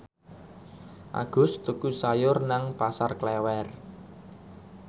Agus tuku sayur nang Pasar Klewer